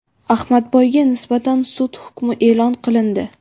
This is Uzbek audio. Ahmadboyga nisbatan sud hukmi e’lon qilindi.